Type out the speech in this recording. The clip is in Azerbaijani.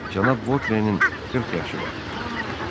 Cənab Votrenin 40 yaşı vardı.